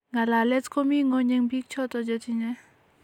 Ngalalet komii ngweny en biik choton chetinye